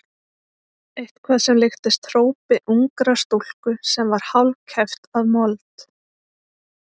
Eitthvað sem líktist hrópi ungrar stúlku sem var hálfkæft af mold.